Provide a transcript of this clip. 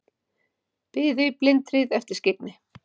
Biðu í blindhríð eftir skyggni